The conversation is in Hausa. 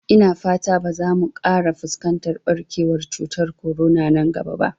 Ina fata ba za mu ƙara fuskantar ɓarkewar cutar korona nan gaba ba